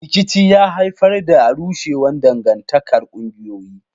Rikici ya haifar da rushewar dangantakar ƙungiyoyi.